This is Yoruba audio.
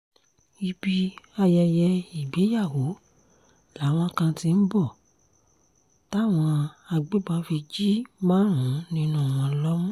ibi ayẹyẹ ìgbéyàwó làwọn kan ti ń bọ̀ táwọn agbébọn fi jí márùn-ún nínú wọn lómú